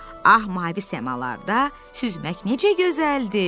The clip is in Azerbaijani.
Ah, mavi səmalarda süzmək necə gözəldir.